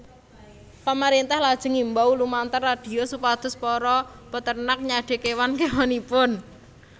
Pamarèntah lajeng ngimbau lumantar radio supados para peternak nyadé kéwan kéwanipun